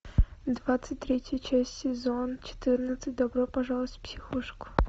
двадцать третья часть сезон четырнадцать добро пожаловать в психушку